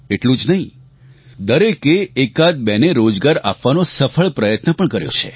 એટલું જ નહીં દરેકે એકાદબે ને રોજગાર આપવાનો સફળ પ્રયત્ન પણ કર્યો છે